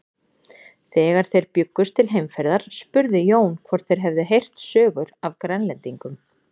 Þegar þeir bjuggust til heimferðar spurði Jón hvort þeir hefðu heyrt sögur af Grænlendingum.